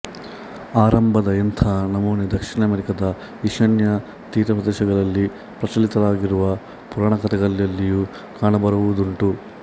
ಆರಂಭದ ಇಂಥ ನಮೂನೆ ದಕ್ಷಿಣ ಅಮೆರಿಕದ ಈಶಾನ್ಯ ತೀರಪ್ರದೇಶಗಳಲ್ಲಿ ಪ್ರಚಲಿತವಾಗಿರುವ ಪುರಾಣಕಥೆಗಳಲ್ಲಿಯೂ ಕಾಣಬರುವುದುಂಟು